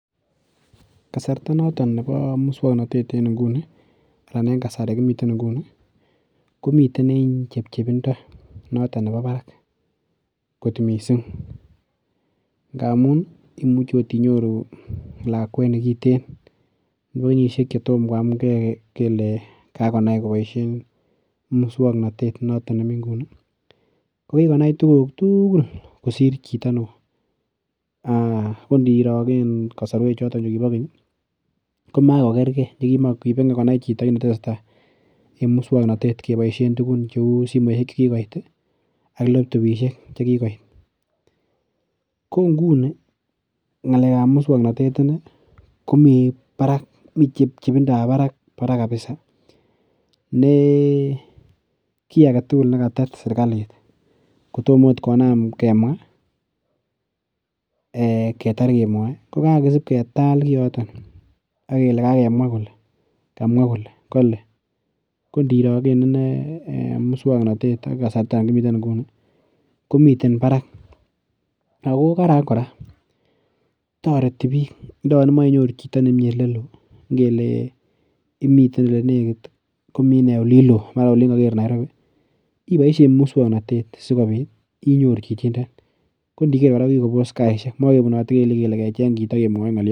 Kasarta noton nebo muswongnotet en inguni ananeng kasari kimiten eng nguni komiten eng chepchepindo noton nebo barak kot mising ngamun imuche akot inyoru lakwet nekiten nebo kenyishek chetom koam ke kele kakonai koboishe muswongnotet noton nemi nguni ko kikonai tukuk tugul kosir chito neo koniro eng kosorwek choton chekibo keny koma kokerkei kimakoi konai chito kit netesetai eng muswongnotet keboishen tukun cheu simoshek chekikoit ak laptopishek chekikoit ko nguni ngalek ap muswongnotet ine ko mii barak mi chepchepindo ap barak kabisa ne kiy agetugul nekatet serikalit kotomo akot kenam kemwa ketar kemwoe kokakosip ketal koyoton akele kakemwa kole kamwa kole kale kongiro eng ine muswongnotet eng kasarta nekimiten nguni komiten barak ako karan kora toreti biik yon imoche inyoru chito nemii ole loo ng'ele imiten olelekit komi ine olin loo mara Olin kaker Nairobi iboishe muswongnotet sikobit inyoru chichindo kongiger kora kokikopos saishek makepunotei kele kecheny chito kemwoi ngolio